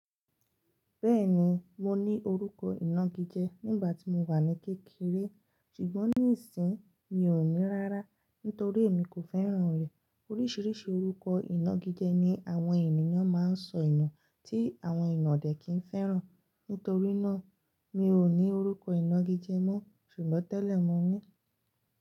Bẹ́ẹ̀ni, mo ní orúkọ ìnagijẹ nígbà tí mo wà ní kékeré, ṣùgbọ́n nísìín mi ò ní rárá nítorí èmi kò fẹ́ràn rẹ̀. Oríṣiríṣi orúkọ ìnagijẹ ni àwọn ènìyàn máa ń sọ inu tí àwọn eeyan odẹ̀ kì n fẹ́ràn. Nítorí náà, mi ò ní orúkọ ìnagijẹ mọ́ ṣùgbọ́n tẹ́lẹ̀ mo ní.